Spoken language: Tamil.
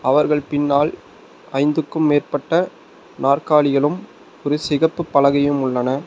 அவர்கள் பின்னால் ஐந்துக்கும் மேற்பட்ட நாற்காலிகளும் ஒரு சிகப்பு பலகையும் உள்ளன.